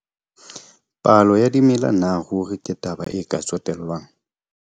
Palo ya dimela na ruri ke taba e ka tsotellwang?